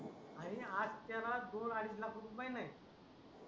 आणि त्याला दोन अडीच लाख रुपये महिना आहे